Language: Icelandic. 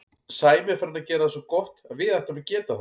Sæmi er farinn að gera það svo gott að við ættum að geta það.